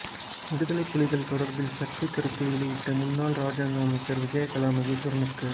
விடுதலை புலிகள் தொடர்பில் சர்ச்சை கருத்தை வெளியிட்ட முன்னாள் இராஜாங்க அமைச்சர் விஜயகலா மகேஸ்வரனுக்கு